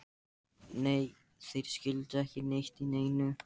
Nei, þeir skildu ekki neitt í neinu.